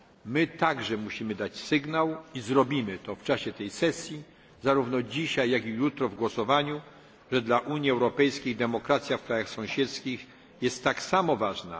My także musimy dać sygnał i zrobimy to w czasie tej sesji, zarówno dzisiaj, jak i jutro w głosowaniu że dla Unii Europejskiej demokracja w krajach sąsiedzkich jest tak samo ważna